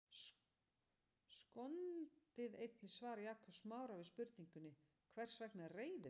Skoðið einnig svar Jakobs Smára við spurningunni Hvers vegna reiðist fólk?